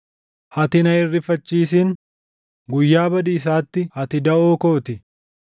Ati na hin rifachiisin; guyyaa badiisaatti ati daʼoo koo ti.